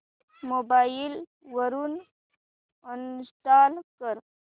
mobile वरून uninstall कर